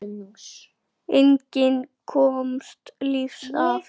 Enginn komst lífs af.